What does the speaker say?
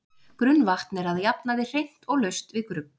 Grunnvatn er að jafnaði hreint og laust við grugg.